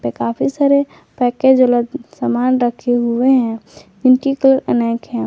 काफी सारे पैकेज वाला समान रखे हुए हैं अनेक है।